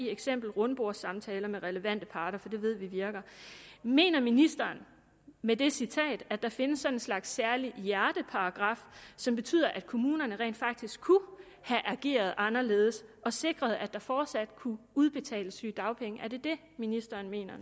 eksempel rundbordssamtaler med relevante parter for det ved vi virker mener ministeren med det citat at der findes sådan en slags særlig hjerteparagraf som betyder at kommunerne rent faktisk kunne have ageret anderledes og sikret at der fortsat kunne udbetales sygedagpenge er det det ministeren mener